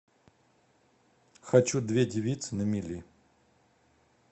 хочу две девицы на мели